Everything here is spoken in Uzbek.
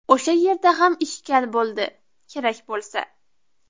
O‘sha yerda ham ‘ishkal’ bo‘ldi, kerak bo‘lsa.